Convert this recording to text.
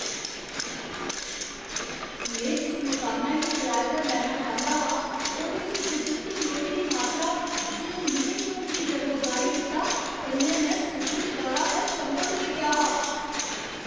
में जिस मकानै गी कराए पर लैना चांह्दा हा, ओह्दे च कुदरती लोई दी मात्तरा, जिन लिविंग रूम गी जगमगाई दित्ता, कन्नै में सुखद तौरा पर चंभत होई गेआ हा।